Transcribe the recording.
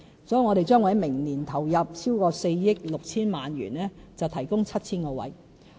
因此，我們將會在明年投入超過4億 6,000 萬元提供 7,000 個名額。